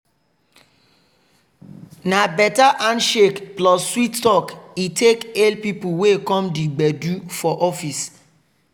na better handshake plus sweet talk he take hail people wey come di gbedu for office.